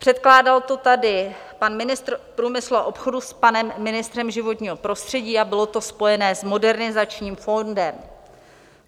Předkládal to tady pan ministr průmyslu a obchodu s panem ministrem životního prostředí a bylo to spojené s Modernizačním fondem.